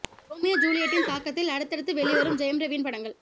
Romeo ஜூலியட்டின் தாக்கத்தில் அடுத்தடுத்து வெளிவரும் ஜெயம் ரவியின் படங்கள்